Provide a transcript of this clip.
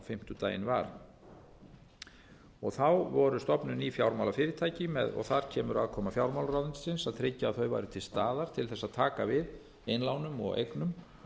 fimmtudaginn var voru stofnuð ný fjármálafyrirtæki þar kemur aðkoma fjármálaráðuneytisins að tryggja að þau væru til staðar til þess að taka við innlánum og eignum